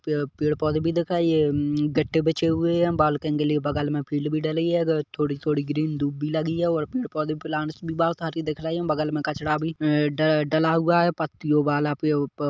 पेड़ पेड़-पौधे भी दिखाई है मम-- गट्टे बीछे हुए हैयहाँ बगल में फील्ड भी ढली है थोड़ी-थोड़ी ग्रीन धुप भी लगी है और पेड़-पौधे प्लांट्स बहुत सारी दिख रही है बगल में कचरा भी अ ढ़ ढला हुआ है पत्तिओं वाला पे उप्पर--